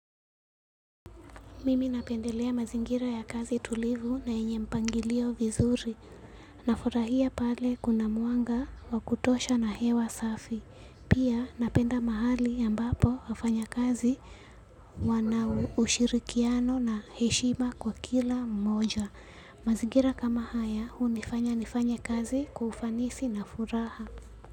Mimi napendelea mazingira ya kazi tulivu na yenye mpangilio vizuri. Nafurahia pale kuna mwanga wa kutosha na hewa safi. Pia napenda mahali ambapo wafanyakazi wana ushirikiano na heshima kwa kila mmoja. Mazingira kama haya hunifanya nifanye kazi kwa ufanisi na furaha.